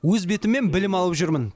өз бетіммен білім алып жүрмін